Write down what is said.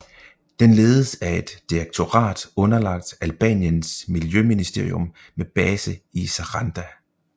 Den ledes af et direktorat underlagt Albaniens miljøministerium med base i Saranda